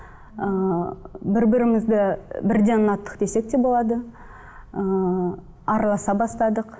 ыыы бір бірімізді бірден ұнаттық десек те болады ыыы араласа бастадық